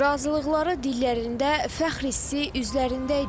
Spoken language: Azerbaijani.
Razılıqları dillərində, fəxr hissi üzlərində idi.